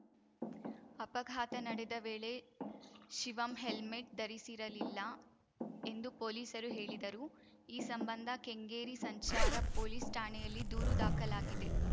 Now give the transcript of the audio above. ಅಪಘಾತ ನಡೆದ ವೇಳೆ ಶಿವಮ್‌ ಹೆಲ್ಮೆಟ್‌ ಧರಿಸಿರಲಿಲ್ಲ ಎಂದು ಪೊಲೀಸರು ಹೇಳಿದರು ಈ ಸಂಬಂಧ ಕೆಂಗೇರಿ ಸಂಚಾರ ಪೊಲೀಸ್‌ ಠಾಣೆಯಲ್ಲಿ ದೂರು ದಾಖಲಾಗಿದೆ